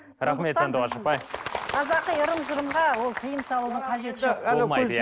рахмет сандуғаш апай қазақи ырым жырымға ол тыйым салудың қажеті жоқ болмайды иә